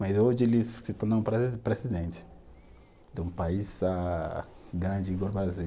Mas hoje ele se tornou um presi, presidente de um país ah, grande igual o Brasil.